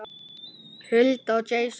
Hulda og Jason.